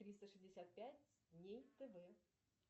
триста шестьдесят пять дней тв